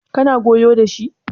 kana goyo da shi?